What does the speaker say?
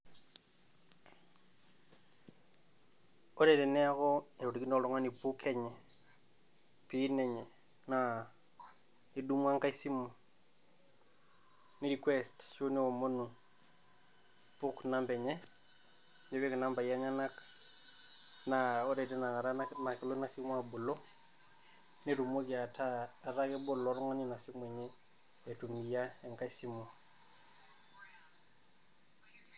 Ore teneeku etorikine oltung'ani PUK enye, PIN enye naa idumu engae simu ni request ashu niomonu PUK namba enye, nipik inambai enyenak naa ore tina kata naa kaitum ake nelo ina simu abolo, nitumoki ataa etaa kebol ilo tung'ani ina simu aitumia enage simu.